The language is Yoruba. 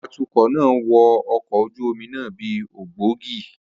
Atukọ̀ náà wọ ọkọ̀ ojú omi náà bí ògbógi.